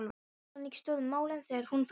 Þannig stóðu málin þegar hún fór.